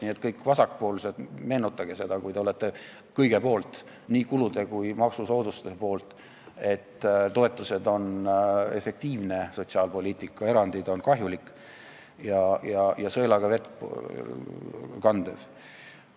Nii et, kõik vasakpoolsed, meenutage seda, kui te olete kõige poolt, nii kulude kui ka maksusoodustuste poolt, et toetused on efektiivne sotsiaalpoliitika, erandid on kahjulikud, nad on sõelaga vee kandmine.